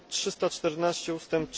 314 ust.